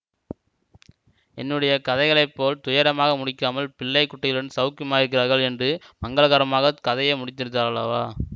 என்னுடைய கதைகளை போல் துயரமாக முடிக்காமல் பிள்ளை குட்டிகளுடன் சௌக்கியமாயிருக்கிறார்கள் என்று மங்களகரமாகக் கதையை முடித்தாரல்லவா